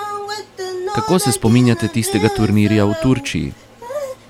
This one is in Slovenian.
Kako se spominjate tistega turnirja v Turčiji?